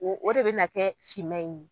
O o de bɛ na kɛ finman in ye.